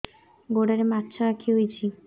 ଗୋଡ଼ରେ ମାଛଆଖି ହୋଇଛି